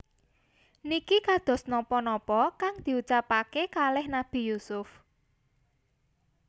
Niki kados nopo nopo kang diucapaken kaleh Nabi Yusuf